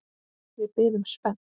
Við biðum spennt.